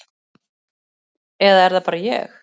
Eða er það bara ég?